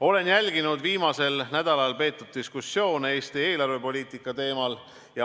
Olen jälginud viimasel nädalal peetud diskussioone Eesti eelarvepoliitika teemal.